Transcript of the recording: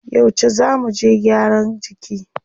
Yauce zá muje gyaran jiki?